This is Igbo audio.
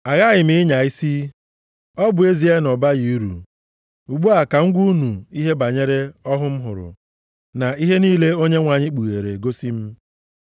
Aghaghị m ịnya isi, ọ bụ ezie na ọ baghị uru, ugbu a ka m gwa unu ihe banyere ọhụ m hụrụ, na ihe niile Onyenwe anyị kpughere gosi m.